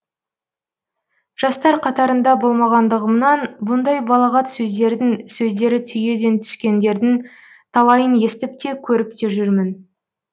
жастар қатарында болғандығымнан бұндай балағат сөздердің сөздері түйеден түскендердің талайын естіп те көріп те жүрмін